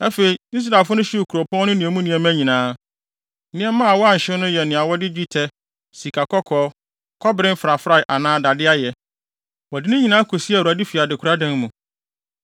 Afei, Israelfo no hyew kuropɔn no ne emu nneɛma nyinaa. Nneɛma a wɔanhyew no yɛ nea wɔde dwetɛ, sikakɔkɔɔ, kɔbere mfrafrae anaa dade ayɛ. Wɔde ne nyinaa kosiee Awurade fi adekoradan mu.